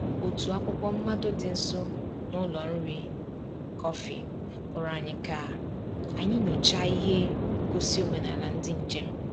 Otu akwụkwọ mmado dị nso n’ụlọ nri kọfị kpọrọ anyị ka anyị nyochaa ihe ngosi omenala ndị njem.